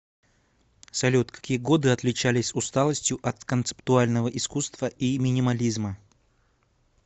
салют какие годы отличались усталостью от концептуального искусства и минимализма